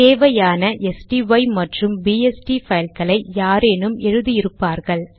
தேவையான ஸ்டை மற்றும் பிஎஸ்டி பைல்களை யாரேனும் எழுதி இருப்பார்கள்